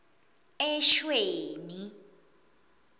eshweni